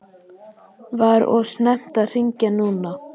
Var of snemmt að hringja núna?